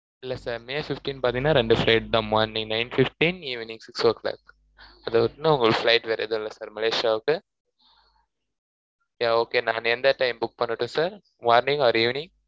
இல்ல sir may fifteen பாத்திங்கனா ரெண்டு flight தான் morning nine fifteen evening six o clock அதுவிட்டனா உங்களுக்கு flight வேற எதும்மில்ல sir மலேசியாவுக்கு yeah okay நானு எந்த timing book பண்ணட்டும் sir morning or evening